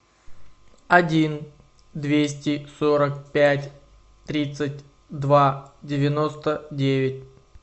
один двести сорок пять тридцать два девяносто девять